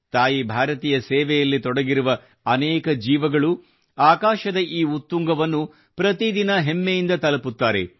ತಾಯಿ ಭಾರತಿಯ ಸೇವೆಯಲ್ಲಿ ತೊಡಗಿರುವ ಅನೇಕ ಜೀವಗಳು ಆಕಾಶದ ಈ ಉತ್ತುಂಗವನ್ನು ಪ್ರತಿದಿನ ಹೆಮ್ಮೆಯಿಂದ ತಲುಪುತ್ತಾರೆ